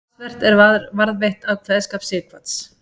Talsvert er varðveitt af kveðskap Sighvats.